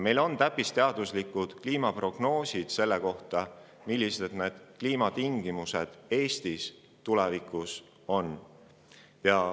Meil on täppisteaduslikud kliimaprognoosid selle kohta, millised need kliimatingimused tulevikus Eestis on.